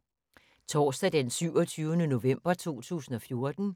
Torsdag d. 27. november 2014